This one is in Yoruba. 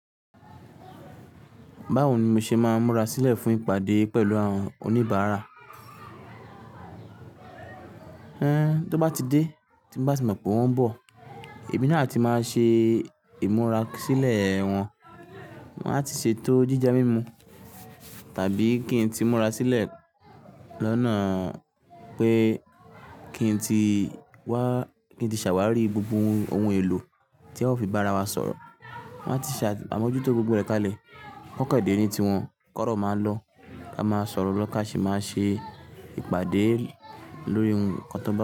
Báwo ni mo ṣe máa ń múra sílẹ̀ fún ìpàdé pẹ̀lú àwọn oníbàárà? Ẹn, tó bá ti dé, tí mo bá ti mọ̀ pé wọ́n ń bọ̀, èmi náà ti máa ṣe ìmúra sílẹ̀ wọn. Wọ́n á ti ṣètò jíjẹ, mímu, tàbí kí n tí múra sílẹ̀ lọ́nà pé kí n tí wá, kí n tí ṣàwárí gbogbo ohun èlò tí a ó fi bára wa sọ̀rọ̀. Wọ́n á ti ṣàbámójútó gbogbo rẹ̀ kalẹ̀. Kọ́n ko dẹ̀ ni ti wọ́n, k'ọ́rọ́ máa ń lọ. A máa sọ̀rọ̀ lọ́, kàṣe máa ṣe ìpàdé lórí nnkan tó bá pé.